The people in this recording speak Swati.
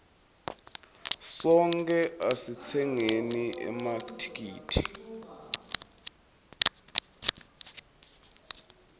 sonkhe asitsengeni emathikithi